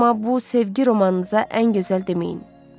Amma bu sevgi romanınıza ən gözəl deməyin.